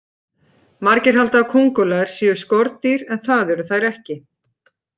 Margir halda að kóngulær séu skordýr en það eru þær ekki.